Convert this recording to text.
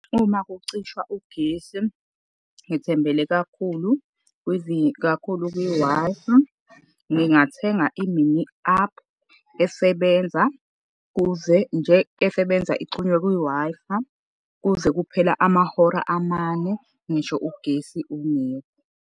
Uma kucishwa ugesi ngithembele kakhulu kakhulu kwi-Wi-Fi. Ngingathenga imini aphu, esebenza kuze nje, esebenza ixhunywe kwi-Wi-Fi. Kuze kuphele amahora amane ngisho ugesi ungekho.